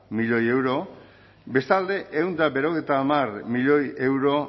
milioi euro bestalde ehun eta laurogeita hamar milioi euro